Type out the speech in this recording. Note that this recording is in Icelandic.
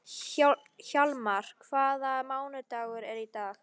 Hjalmar, hvaða mánaðardagur er í dag?